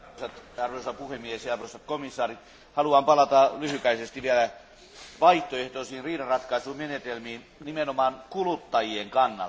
Arvoisa puhemies, arvoisa komissaari, haluan palata lyhyesti vielä vaihtoehtoisiin riidanratkaisumenetelmiin nimenomaan kuluttajien kannalta.